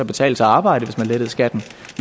betale sig at arbejde hvis man lettede skatten